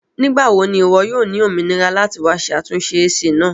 Nigbawo ni iwọ yoo ni ominira lati wa ṣe atunṣe AC naa?